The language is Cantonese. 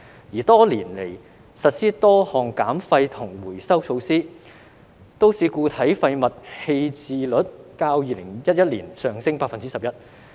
而多年來實施多項減廢及回收措施，都市固體廢物棄置率較2011年上升 11%。